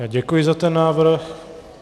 Já děkuji za ten návrh.